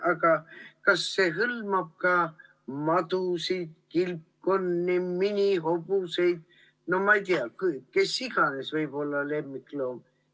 Aga kas see hõlmab ka madusid, kilpkonni, minihobuseid, no ma ei tea, keda iganes, kes võib olla lemmikloom?